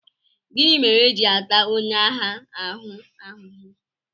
Gịnị mere e ji ata onye agha ahụ ahụhụ?